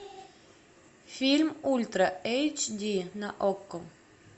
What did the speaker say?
фильм ультра эйч ди на окко